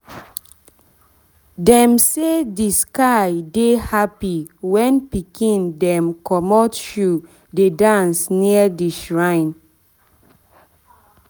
them say the sky dey happy when pikin dem commot shoe dey dance near the shrine.